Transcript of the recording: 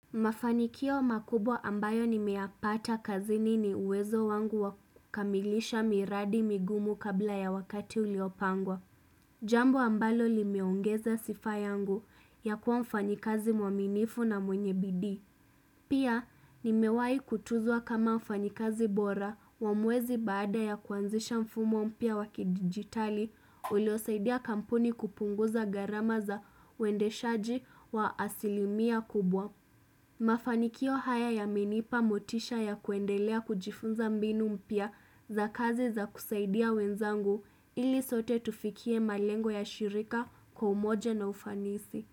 Mafanikio makubwa ambayo nimeyapata kazini ni uwezo wangu wa kukamilisha miradi migumu kabla ya wakati uliopangwa. Jambo ambalo limeongeza sifa yangu ya kuwa mfanyikazi mwaminifu na mwenye bidii. Pia, nimewai kutuzwa kama mfanyikazi bora wa mwezi baada ya kuanzisha mfumo mpya wa kidigitali uliosaidia kampuni kupunguza gharama za uendeshaji wa asilimia kubwa. Mafanikio haya yamenipa motisha ya kuendelea kujifunza mbinu mpya za kazi za kusaidia wenzangu ili sote tufikie malengo ya shirika kwa umoja na ufanisi.